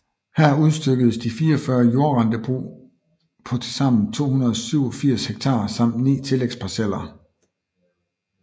Her udstykkedes 44 jordrentebrug på tilsammen 287 hektar samt 9 tillægsparceller